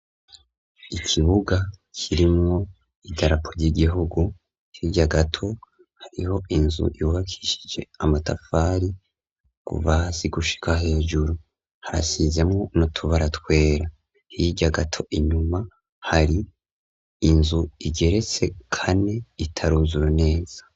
Ikibuga kirimwo idarapo ry'igihugu, hirya gato hariho inzu yubakishije amatafari kuva hasi gushika hejuru harasizemwo n'utubara twera, hirya gato inyuma hari inzu igeretse kane itaruzura neza.